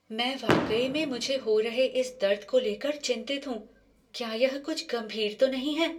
मैं वाकई में मुझे हो रहे इस दर्द को ले कर चिंतित हूँ। क्या यह कुछ गंभीर तो नहीं है?